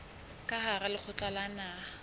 ka hara lekgotla la naha